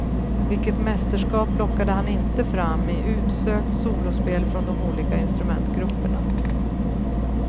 Vilket mästerskap lockade han inte fram, i utsökt solospel från de olika instrumentgrupperna.